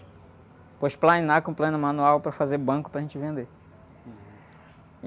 Depois, plainar com o plaino manual para fazer banco para a gente vender.